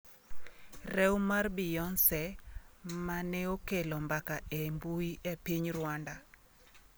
Rew mar Beyonce maneokelo mbaka e mbui e piny Rwanda